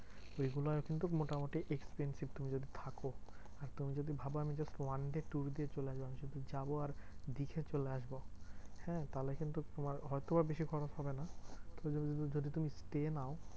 ওইগুলা কিন্তু খুব মোটামুটি expensive তুমি যদি থাকো। আর তুমি যদি ভাবা আমি just one day tour দিয়ে চলে আসবো, শুধু যাবো আর দেখে চলে আসবো হ্যাঁ? তাহলে কিন্তু তোমার হয়তো বা বেশি খরচ হবে না, যদি তুমি stay নাও